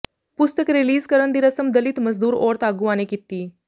ਪੁਸਤਕ ਰਿਲੀਜ਼ ਕਰਨ ਦੀ ਰਸਮ ਦਲਿਤ ਮਜ਼ਦੂਰ ਔਰਤ ਆਗੂਆਂ ਨੇ ਕੀਤੀ